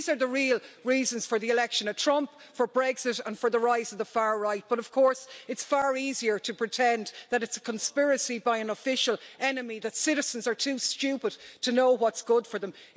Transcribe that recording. These are the real reasons for the election of Trump, for Brexit and for the rise of the far right, but of course it's far easier to pretend that it's a conspiracy by an official enemy and that citizens are too stupid to know what's good for them.